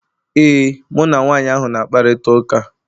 Ee, mụ na nwanyị ahụ na-akparịta ụka